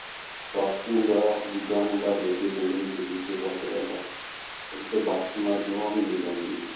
ਬਾਪੂ ਦਾ ਦੂਜਾ ਮੁੰਡਾ ਬੇਬੇ ਪਿੰਡ ਵਿੱਚ ਦੂਜੇ ਪਾਸੇ ਰਹਿੰਦਾ, ਉਸਦੇ ਬਾਪੂ ਨਾਲ ਜਮਾਂ ਵੀ ਨੀ ਬਣਦੀ ਸੀ।